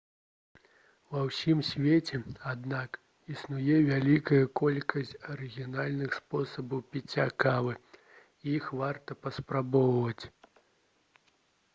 ва ўсім свеце аднак існуе вялікая колькасць арыгінальных спосабаў піцця кавы і іх варта паспрабаваць